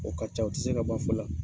O ka ca u tɛ se ka ban fɔ la.